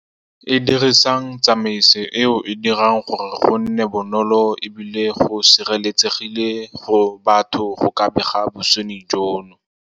E dirisang tsamaiso eo e dirang gore go nne bonolo ebile go sireletsegile go batho go ka bega bosenyi jono.